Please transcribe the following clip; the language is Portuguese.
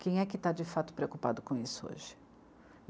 Quem é que tá de fato preocupado com isso hoje?